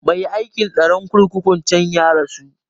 Mai aikin tsaron kurkukun can ya rasu